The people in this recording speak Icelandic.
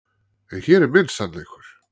En hér er minn sannleikur.